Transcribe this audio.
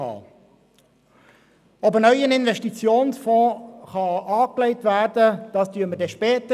Ob ein neuer Investitionsfonds angelegt werden kann, das entscheiden wir später.